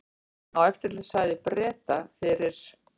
Á eftirlitssvæði Breta fyrir